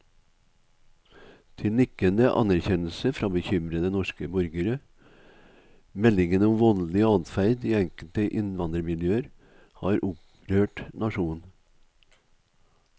Til nikkende anerkjennelse fra bekymrede norske borgere, meldingene om voldelig adferd i enkelte innvandrermiljøer har opprørt nasjonen.